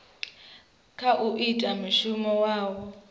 kha u ita mishumo yavho